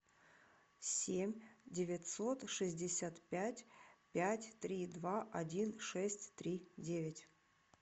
семь девятьсот шестьдесят пять пять три два один шесть три девять